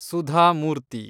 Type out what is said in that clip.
Sudha Murthy